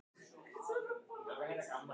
Þessi munúðarfulli munnur og heitu augu.